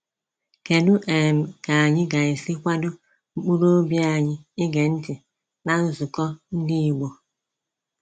Kedụ um ka anyị ga esi kwado mkpụrụ obi anyị ige ntị na nzukọ ndị Igbo.